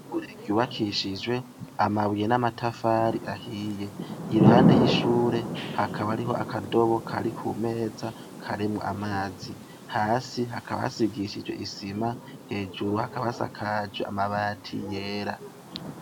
Ishure ryubakishijwe amabuye n'amatafari ahiye. Iruhande y'ishure hakaba hari akadobo kari ku meza karimwo amazi. Hasi hakaba hasigishijwe isima, hejuru hakaba hasakaje amabati yera.